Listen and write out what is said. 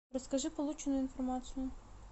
расскажи полученную информацию